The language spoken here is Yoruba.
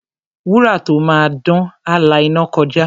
Wúrà tó máa dán, á la iná kọjá.